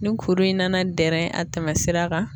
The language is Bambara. Nin kuru in nana dɛrɛn a tɛmɛ sira kan